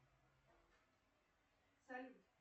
салют